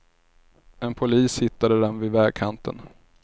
En polis hittade den vid vägkanten.